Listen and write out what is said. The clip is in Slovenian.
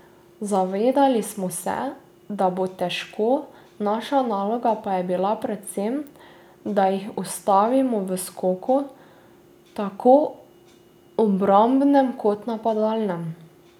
Zavedali smo se, da bo težko, naša naloga pa je bila predvsem, da jih ustavimo v skoku, tako obrambnem kot napadalnem.